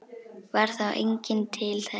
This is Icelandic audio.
Varð þá enginn til þess.